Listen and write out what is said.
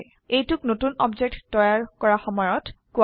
000046 000045 এইটোক নতুন অবজেক্ট তৈয়াৰ কৰা সময়ত কোৰা হয়